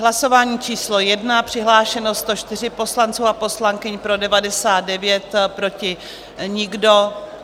Hlasování číslo 1, přihlášeno 104 poslanců a poslankyň, pro 99, proti nikdo.